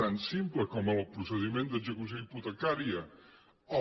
tan simple com el procediment d’execució hipotecària el